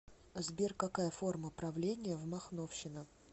сбер какая форма правления в махновщина